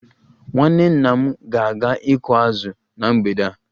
Nwanne nna m ga-aga ịkụ azụ na mgbede a